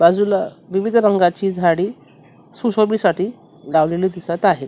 बाजूला विविध रंगाची झाडी सुशोभी साठी लावलेली दिसत आहेत.